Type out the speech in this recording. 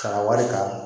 Ka na wari ta